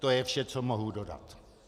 To je vše, co mohu dodat.